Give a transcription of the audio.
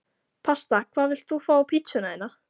Pasta Hvað vilt þú fá á pizzuna þína?